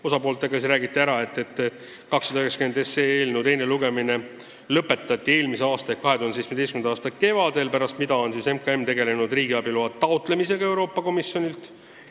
Osapooltele räägiti, et eelnõu 290 teine lugemine lõpetati eelmise aasta, 2017. aasta kevadel ja pärast seda on MKM tegelenud riigiabi loa taotlemisega Euroopa Komisjonilt.